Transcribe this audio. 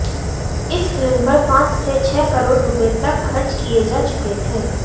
इस फिल्म पर पांच से छह करोड़ रुपये तक खर्च किए जा चुके थे